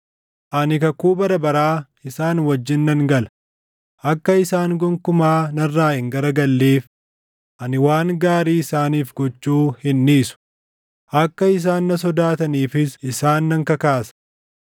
Ani kakuu bara baraa isaan wajjin nan gala; akka isaan gonkumaa narraa hin garagalleef ani waan gaarii isaaniif gochuu hin dhiisu; akka isaan na sodaataniifis isaan nan kakaasa.